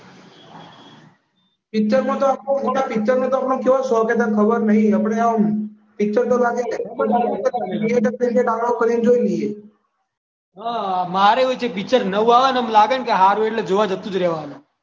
પિક્ચરનું તો આપણે ગોડા ચેવો શોખ છે ખબર નહિ આપણે તો એમ થિયેટરમાં નહીં તો ડાઉનલોડ કરીને જોઈ લઈએ મારેય એવું જ છે પિક્ચર નવું આવે ને લાગે ને હારું એટલે જોવા જતું જ રહેવાનું